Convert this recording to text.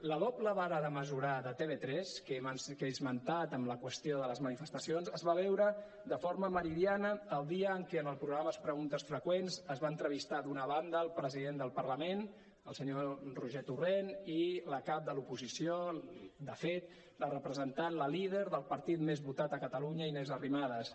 la doble vara de mesurar de tv3 que he esmentat amb la qüestió de les manifestacions es va veure de forma meridiana el dia en què en el programa preguntes freqüents es va entrevistar d’una banda el president del parlament el senyor roger torrent i la cap de l’oposició de fet la representant la líder del partit més votat a catalunya inés arrimadas